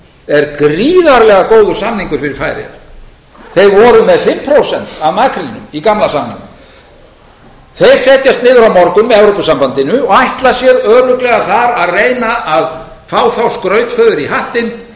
er gríðarlega góður samningur fyrir færeyjar þeir voru með fimm prósent af makrílnum í gamla samningnum þeir setjast niður á morgun með evrópusambandinu og ætla sér örugglega þar að reyna að fá þá skrautfjöður í hattinn